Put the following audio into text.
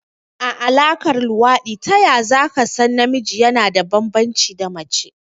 A Alaƙar luwaɗi taya zaka san namiji yana da banbanci da mace?